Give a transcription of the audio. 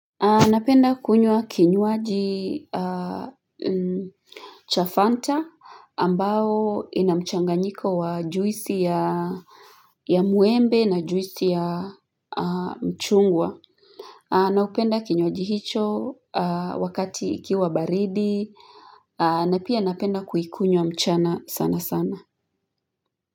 Napenda kunywa kinywaji cha fanta ambao ina mchanganyiko wa juisi ya muembe na juisi ya mchungwa Naupenda kinywaji hicho wakati ikiwa baridi na pia napenda kuikunywa mchana sana sana.